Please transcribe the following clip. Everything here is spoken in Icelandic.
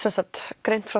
greint frá